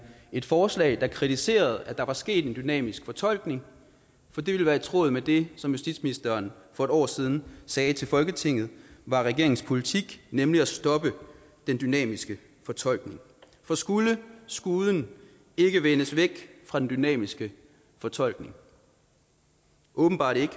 et forslag der kritiserede at der var sket en dynamisk fortolkning for det ville være i tråd med det som justitsministeren for et år siden sagde til folketinget var regeringens politik nemlig at stoppe den dynamiske fortolkning for skulle skuden ikke vendes væk fra den dynamiske fortolkning åbenbart ikke